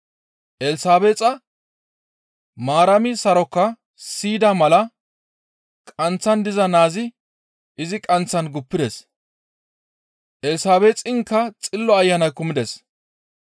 Elsabeexa Maarami sarokaa siyida mala qanththan diza naazi izi qanththan guppides, Elsabeexinkka Xillo Ayanay kumides.